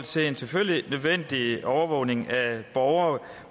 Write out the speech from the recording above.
selvfølgelig nødvendig overvågning af borgere